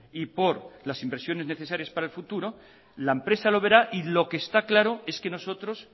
y por las inversiones necesarias para el futuro la empresa lo verá y lo que está claro es que nosotros